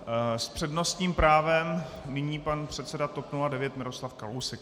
S přednostním právem nyní pan předseda TOP 09 Miroslav Kalousek.